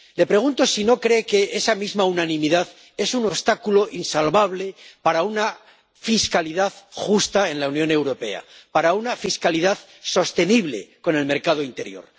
Le pregunto si no cree que esa misma unanimidad es un obstáculo insalvable para una fiscalidad justa en la Unión Europea, para una fiscalidad sostenible con el mercado interior.